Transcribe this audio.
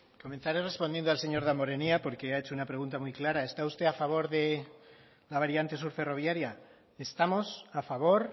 comenzaré respondiendo al señor damborenea porque ha hecho una pregunta muy clara está usted a favor de la variante sur ferroviaria estamos a favor